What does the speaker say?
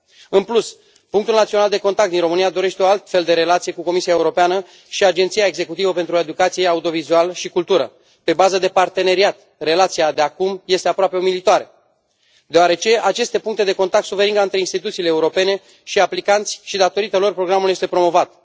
În plus, Punctul Național de Contact din România dorește o altfel de relație cu Comisia Europeană și Agenția Executivă pentru Educație, Audiovizual și Cultură pe bază de parteneriat, relația de acum este aproape umilitoare deoarece aceste puncte de contact sunt veriga între instituțiile europene și aplicanți și datorită lor programul este promovat.